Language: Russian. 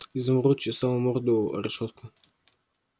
изумруд чесал морду о решётку